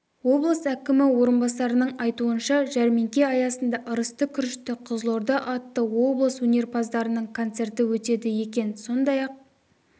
облыс әкімі орынбасарының айтуынша жәрмеңке аясында ырысты күрішті қызылорда атты облыс өнерпаздарының концерті өтеді екен сондай-ақ